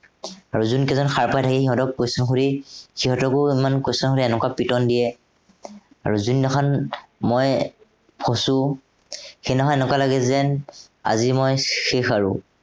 আৰু যোন কেইটা সাৰ পাই থাকে সিহঁতক question সুধি সিহঁতকো ইমান question সুধি এনেকুৱা পিটন দিয়ে। আৰু যোনদিনাখন মই ফঁচো সেইদিনাখন এনেকুৱা লাগে যেন, আজি মই শেষ আৰু